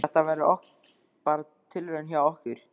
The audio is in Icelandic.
Þetta verður bara tilraun hjá okkur.